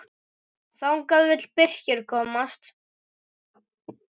Þangað vill Birkir komast.